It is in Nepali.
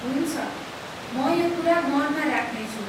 हुन्छ, म यो कुरा मनमा राख्नेछु।